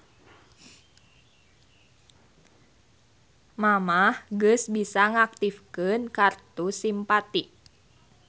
Mamah geus bisa ngaktifkeun kartu Simpati